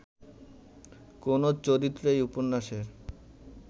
কোনো চরিত্র এই উপন্যাসের